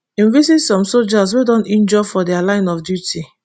im visit some sojas wey don injure for dia line of duty